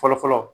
Fɔlɔ fɔlɔ